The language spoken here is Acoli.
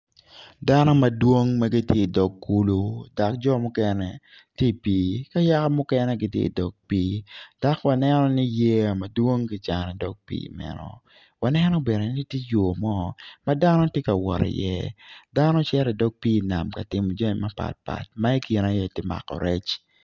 Dano madong ma gitye i dog kulu dok jo mukene tye i pii ki yaka muken gitye i dog pii dok waneno ni yey mapol kicanogi i dog pii meno waneno bene ni tye yo mo ma dano tye ka wot iye dano gicito i dog pii nam ka timo jami mapatpat ma i kine tye iye mako rec.